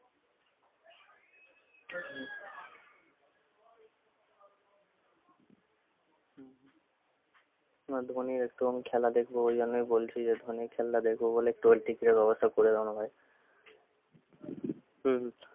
না ধোনীর একটু আমি খেলা দেখবো বলে আমি বলছি যে ধোনীর খেলা দেখবো বলে trollticket এর ব্যবস্থা করে দেউনা ভাই হম